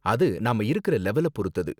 அது நாம இருக்குற லெவல பொருத்தது.